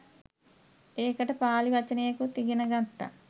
ඒකට පාළි වචනයකුත් ඉගෙන ගත්තා.